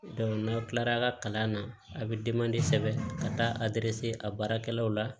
n'aw kilara a ka kalan na a bɛ sɛbɛn ka taa a baarakɛlaw la